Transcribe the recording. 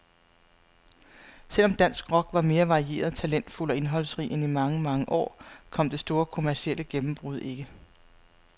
Selv om dansk rock var mere varieret, talentfuld og indholdsrig end i mange, mange år, kom det store kommercielle gennembrud ikke.